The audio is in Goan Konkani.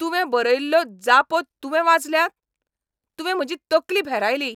तुवें बरयल्ल्यो जापो तुवें वाचल्यात? तुवें म्हजी तकली भेरायली.